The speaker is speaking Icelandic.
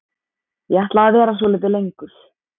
Ég ætla að vera svolítið lengur.